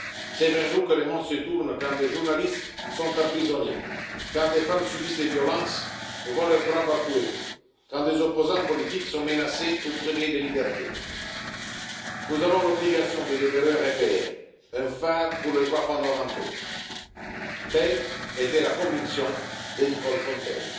C'est vers nous que le monde se tourne quand des journalistes sont emprisonnés, quand des femmes subissent des violences et voient leurs droits bafoués, quand des opposants politiques sont menacés ou privés de liberté. Nous avons l'obligation de demeurer un repère, un phare pour les droits fondamentaux. Telle était la conviction de Nicole Fontaine.